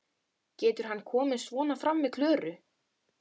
Getur hann komið svona fram við Klöru?